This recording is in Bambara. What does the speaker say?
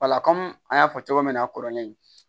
an y'a fɔ cogo min na a kɔrɔlen